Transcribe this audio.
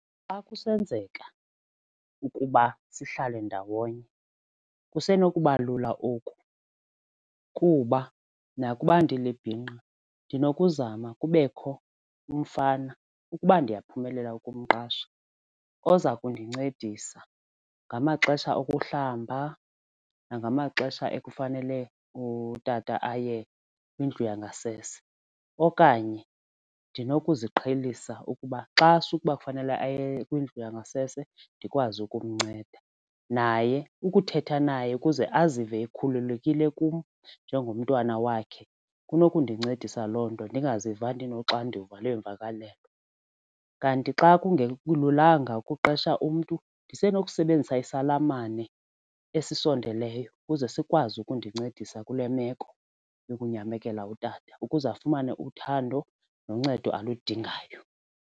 Xa kusenzeka ukuba sihlale ndawonye kusenokuba lula oku kuba nakuba ndilibhinqa ndinokuzama kubekho umfana ukuba ndiyaphumelela ukumqesha oza kundincedisa ngamaxesha okuhlamba nangamaxesha ekufanele utata aye kwindlu yangasese. Okanye ndinokuqhelisa ukuba xa sukuba kufanele aye kwindlu yangasese ndikwazi ukumnceda naye ukuthetha naye ukuze azive ekhululekile kum njengomntwana wakhe kunokundincedisa loo nto ndingaziva ndinoxanduva lweemvakalelo. Kanti xa kungelulanga kuqesha umntu nisenokusebenzisa isalamane esisondeleyo ukuze sikwazi ukundincedisa kule meko yokunyamekela utata ukuze afumane uthando noncedo aludingayo.